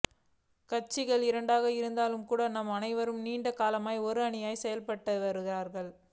கட்சிகள் இரண்டாக இருந்தாலும் கூட நாம் அனைவருமே நீண்ட காலமாக ஒரு அணியாக செயற்பட்டவர்கள்